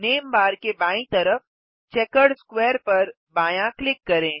name bar के बायीं तरफ चेकर्ड स्क्वेयर पर बायाँ क्लिक करें